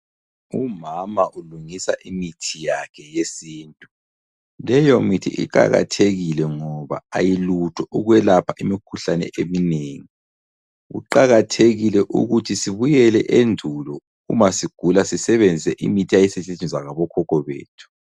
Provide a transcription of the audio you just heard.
Umama ulungisa imithi yakhe yesintu. Leyomithi iqalathekile ngoba ayilutho ukwelapha imikhuhlane eminengi. Kuqakathekile ukuthi sibuyele endulo uma sigula sisebenzise imithi eyayisetshenziswa ngokhokho bethu.